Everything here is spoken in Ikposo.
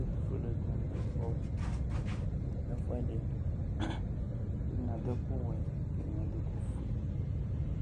Ɛtʋfuele dini kɔ nʋ ɛfʋɛdi kʋ ɛdini adʋ ɛkʋwɛ kʋ ɛdini adʋ ɛkʋfue